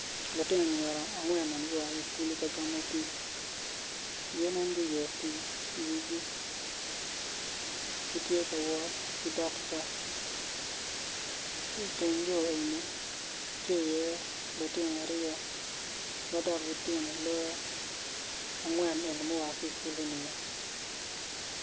Lutino anyira angwen magu a kikulu kagamo pi gi nen guyeo pi i wigi gitye kawot ki dog yo ki teng yo eni tye i ye lutino aryo madok gitino loyo angwen magua kikulu ni o.